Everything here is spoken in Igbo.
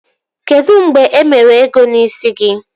Kedụ mgbe e mere ego n'ịsi gị?